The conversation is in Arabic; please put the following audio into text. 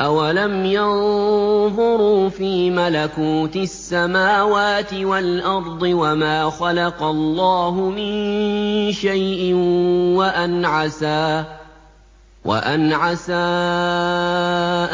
أَوَلَمْ يَنظُرُوا فِي مَلَكُوتِ السَّمَاوَاتِ وَالْأَرْضِ وَمَا خَلَقَ اللَّهُ مِن شَيْءٍ وَأَنْ عَسَىٰ